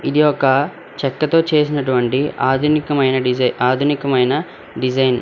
ఇది ఒక చెక్కతో చేసినటువంటి ఆధునికమైన డిజై ఆధునికమైన డిజైన్ .